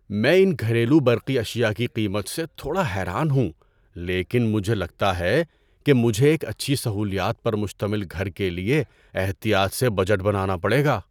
میں ان گھریلو برقی اشیاء کی قیمت سے تھوڑا حیران ہوں لیکن مجھے لگتا ہے کہ مجھے ایک اچھی سہولیات پر مشتمل گھر کے لیے احتیاط سے بجٹ بنانا پڑے گا۔